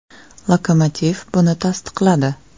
“Lokomotiv” buni tasdiqladi.